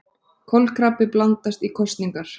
Kolkrabbi blandast í kosningar